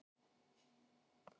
Hélt hlaupunum samt áfram.